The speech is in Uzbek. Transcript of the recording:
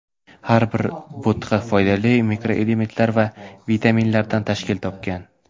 Har bir bo‘tqa foydali mikroelementlar va vitaminlardan tashkil topgan.